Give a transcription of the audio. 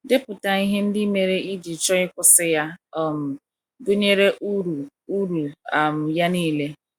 Depụta ihe ndị mere i ji chọọ ịkwụsị ya, um gụnyere ụrụ ụrụ um ya nile.